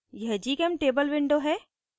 यह gchemtable window है